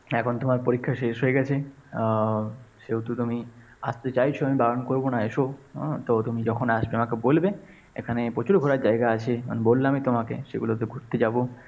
এখন তোমার পরীক্ষা শেষ হয়ে গেছে আহ সেহেতু তুমি আসতে চাইছ আমি বারণ করব না। এসো। হ্যাঁ তবে তুমি যখন আসবে আমাকে বলবে। এখানে প্রচুর ঘোরার জায়গা আছে। আমি বললামই তোমাকে, সেগুলো ঘুরতে যাব।